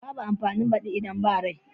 Babu amfanin badi idan ba rai.